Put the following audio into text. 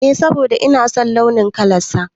Eh, saboda ina son launin kalan sa